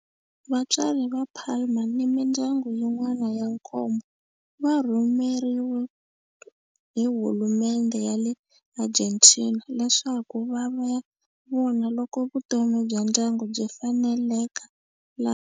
Vatswari va Palma ni mindyangu yin'wana ya nkombo va rhumeriwe hi hulumendhe ya le Argentina leswaku va ya vona loko vutomi bya ndyangu byi faneleka laha.